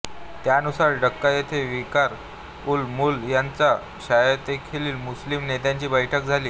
त्यानुसार डाक्का येथे विकार उल मुल्क यांच्या ध्यक्षतेखाली मुस्लिम नेत्यांची बैठक झाली